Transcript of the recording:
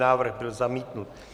Návrh byl zamítnut.